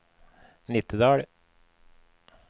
Nittedal